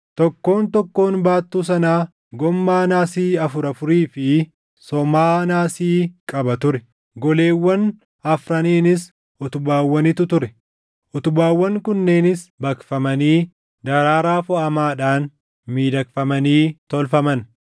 Tokkoon tokkoon baattuu sanaa goommaa naasii afur afurii fi somaa naasii qaba ture; goleewwan afraniinis utubaawwanitu ture; utubaawwan kunneenis baqfamanii daraaraa foʼamaadhaan miidhagfamanii tolfaman.